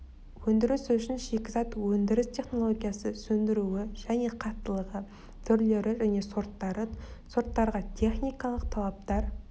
өндіріс үшін шикізат өндіріс технологиясы сөндіруі және қаттылығы түрлері және сорттары сорттарға техникалық талаптар